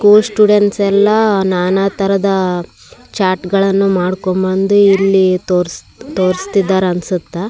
School students ಎಲ್ಲ ನಾನಾ ತರಹದ ಚಾಟ್ ಳನ್ನು ಮಾಡ್ಕೊಂಡ್ ಬಂದು ಇಲ್ಲಿ ತೋರಸ್ತ ತೋರ್ಸ್ತಾ ಇದ್ದಾರ ಅನ್ಸುತ್ತ.